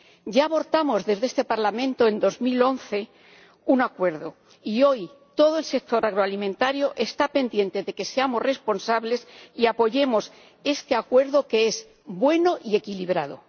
Ya abortamos desde este Parlamento, en 2011, un acuerdo. Y hoy todo el sector agroalimentario está pendiente de que seamos responsables y apoyemos este acuerdo, que es bueno y equilibrado.